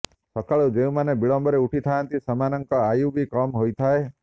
ସକାଳୁ ଯେଉଁମାନେ ବିଳମ୍ବରେ ଉଠି ଥାଆନ୍ତି ସେମାନଙ୍କ ଆୟୁ ବି କମ୍ ହୋଇଥାଏ